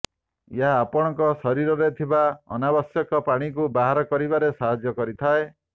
ଏହା ଆପଣଙ୍କ ଶରୀରରେ ଥିବା ଅନାବଶ୍ୟକ ପାଣିକୁ ବାହାର କରିବାରେ ସାହାଯ୍ୟ କରିଥାଏ